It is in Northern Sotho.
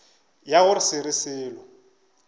ya go se re selo